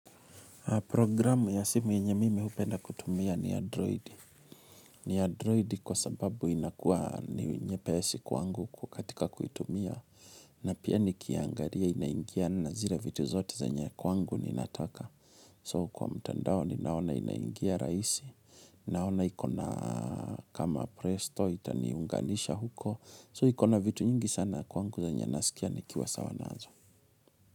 Programu ya simu yenye mimi hupenda kutumia ni Android. Ni Android kwa sababu inakuwa ni nyepesi kwangu kukatika kuitumia. Na pia nikiangaria inaingia na zira vitu zote zenye kwangu ni nataka. So kwa mtandao ni naona inaingia rahisi. Naona ikona kama presto itaniunganisha huko. So ikona vitu nyingi sana kwangu zenye kwangu nasikia nikiwa sawa nazo.